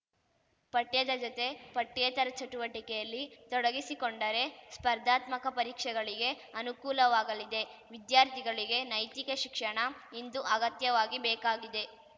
ಪಠ್ಯದ ಜತೆ ಪಠ್ಯೇತರ ಚಟುವಟಿಕೆಯಲ್ಲಿ ತೊಡಗಿಸಿಕೊಂಡರೆ ಸ್ಪರ್ಧಾತ್ಮಕ ಪರೀಕ್ಷೆಗಳಿಗೆ ಅನುಕೂಲವಾಗಲಿದೆ ವಿದ್ಯಾರ್ಥಿಗಳಿಗೆ ನೈತಿಕ ಶಿಕ್ಷಣ ಇಂದು ಅಗತ್ಯವಾಗಿ ಬೇಕಾಗಿದೆ